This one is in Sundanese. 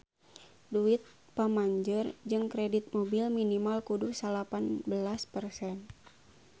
Duit pamanjer jang kredit mobil minimal kudu salapan belas persen